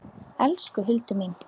Elsku Hildur mín.